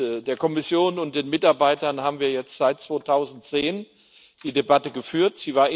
Mit der Kommission und den Mitarbeitern haben wir seit 2010 die Debatte geführt.